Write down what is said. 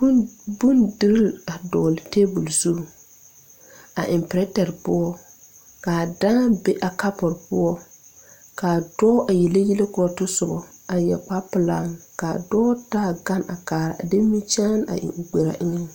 Bondirii a dɔɔle tabol zu a eŋ pirɛterre poɔ kaa dãã be a kapure poɔ kaa dɔɔ a yele yɛlɛ korɔ otɔsobɔ a yɛre kpare pelaa ka dɔɔ taa gane a kaara a de nimikyaane a eŋ o gberaaŋ.